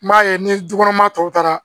N b'a ye ni dukɔnɔ maa tɔw taara